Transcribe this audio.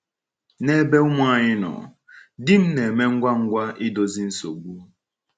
N’ebe ụmụ anyị nọ, di m na -eme ngwa ngwa idozi nsogbu.